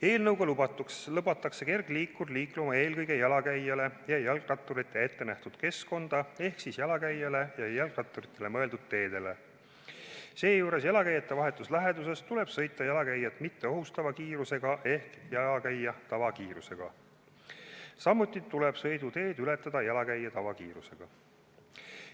Eelnõuga lubatakse kergliikur liikuma eelkõige jalakäijale ja jalgratturile ettenähtud keskkonda ehk jalakäijale ja jalgratturile mõeldud teedele, seejuures jalakäija vahetus läheduses tuleb sõita jalakäijat mitte ohustava kiirusega ehk jalakäija tavakiirusega, samuti tuleb sõiduteed ületada jalakäija tavakiirusega.